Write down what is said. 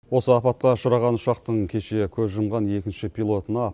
осы апатқа ұшыраған ұшақтың кеше көз жұмған екінші пилотына